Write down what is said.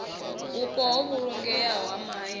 vhupo ho vhulungeaho ha mahayani